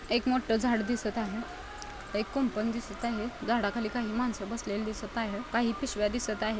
एक मोठ झाड दिसत आहे. एक कुंपन दिसत आहे. झाडाखाली काही माणस बसलेले दिसत आहे. काही पिशव्या दिसत आहेत.